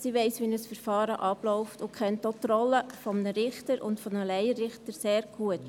Sie weiss, wie ein Verfahren abläuft, und kennt auch die Rolle eines Richters und eines Laienrichters sehr gut.